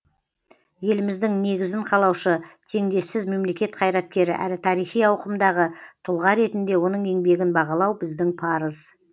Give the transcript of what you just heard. еліміздің негізін қалаушы теңдессіз мемлекет қайраткері әрі тарихи ауқымдағы тұлға ретінде оның еңбегін бағалау біздің парыз